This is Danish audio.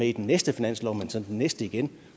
i den næste finanslov men så den næste igen